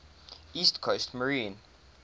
east coast maine